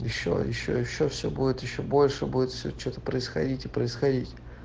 ещё ещё ещё все будет ещё больше будет все что-то происходить и происходить